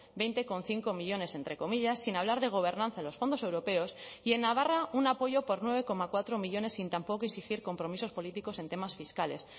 veinte coma cinco millónes entre comillas sin hablar de gobernanza en los fondos europeos y en navarra un apoyo por nueve coma cuatro millónes sin tampoco exigir compromisos políticos en temas fiscales